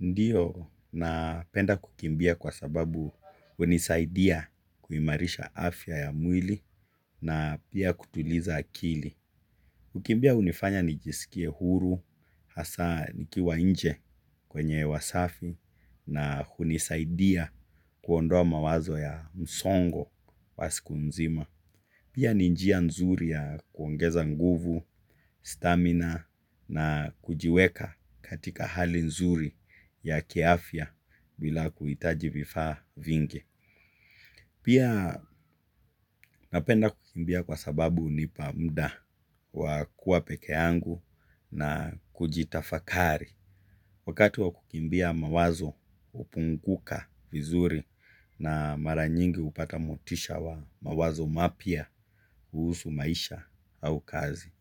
Ndiyo, napenda kukimbia kwa sababu hunisaidia kuimarisha afya ya mwili na pia kutuliza akili. Kukimbia hunifanya nijisikie huru, hasa nikiwa nje kwenye hewa safi na hunisaidia kuondoa mawazo ya msongo wa siku nzima. Pia ni njia nzuri ya kuongeza nguvu, stamina na kujiweka katika hali nzuri ya kiafya bila kuhitaji vifaa vingi. Pia napenda kukimbia kwa sababu hunipa mda wa kuwa peke yangu na kujitafakari. Wakati wa kukimbia mawazo hupunguka vizuri na mara nyingi hupata motisha wa mawazo mapya kuhusu maisha au kazi.